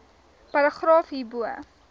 paragraaf hierbo